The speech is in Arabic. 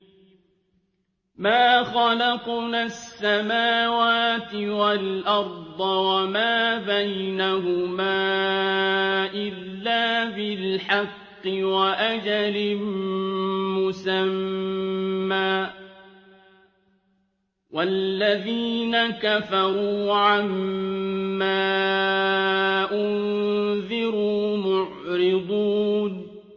مَا خَلَقْنَا السَّمَاوَاتِ وَالْأَرْضَ وَمَا بَيْنَهُمَا إِلَّا بِالْحَقِّ وَأَجَلٍ مُّسَمًّى ۚ وَالَّذِينَ كَفَرُوا عَمَّا أُنذِرُوا مُعْرِضُونَ